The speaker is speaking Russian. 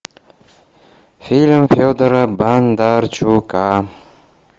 фильм федора бондарчука